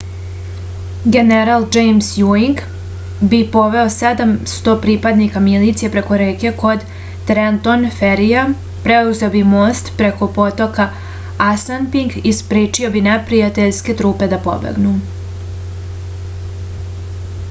general džejms juing bi poveo 700 pripadnika milicije preko reke kod trenton ferija preuzeo bi most preko potoka asanpink i sprečio bi neprijateljske trupe da pobegnu